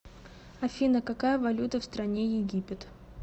афина какая валюта в стране египет